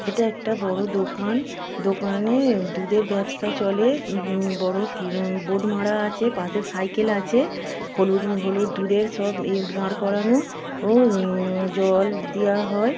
এটা একটা বড়ো দোকান দোকানের দুধের ব্যবসা চলে বড়ো বোর্ড মারা আছে পাশে সাইকেল আছে হলুদ হলুদ দুধের সব দাঁড় করানো ও জল দিয়া হয়।